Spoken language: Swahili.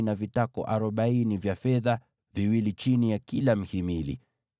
na vitako arobaini vya fedha, viwili chini ya kila mhimili.